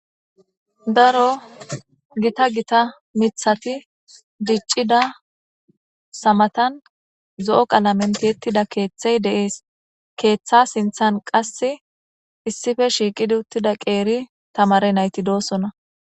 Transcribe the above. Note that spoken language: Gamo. Daro giitta mithati dicidaysa matan zo'o kalamen tiyetida ketha de'es ketha sinthen qase issippe shiqidi uttida qeri tamare nayti dosona